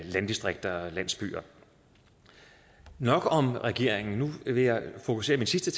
landdistrikter og landsbyer nok om regeringen nu vil jeg fokusere min sidste